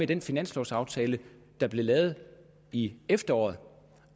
den finanslovaftale der blev lavet i efteråret